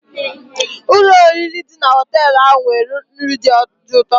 Ụlọ oriri dị na họtel ahụ nwere nri dị ụtọ.